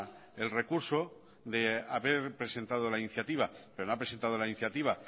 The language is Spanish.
el recurso de haber presentado la iniciativa pero no ha presentado la iniciativa